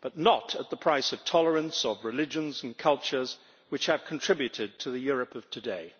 but not at the price of the tolerance of religions and cultures which have contributed to the Europe of today.